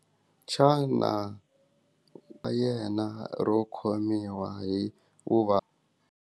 Xana yena ro khomiwa hikuva.